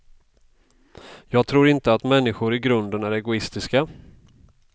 Jag tror inte att människor i grunden är egoistiska.